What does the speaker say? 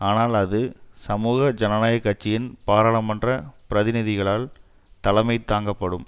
ஆனால் அது சமூக ஜனநாயக கட்சியின் பாராளுமன்ற பிரதிநிதிகளினால் தலைமை தாங்கப்படும்